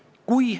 Väga imelik!